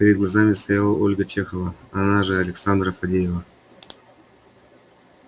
перед глазами стояла ольга чехова она же александра фадеева